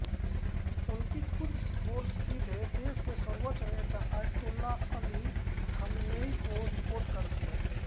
उनकी Quds force सीधे देश के सर्वोच्च नेता आयतोल्लाह अली ख़ामेनेई को रिपोर्ट करती है